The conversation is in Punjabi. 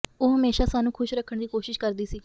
ਉਹ ਹਮੇਸ਼ਾ ਸਾਨੂੰ ਖੁਸ਼ ਰੱਖਣ ਦੀ ਕੋਸ਼ਿਸ਼ ਕਰਦੀ ਸੀ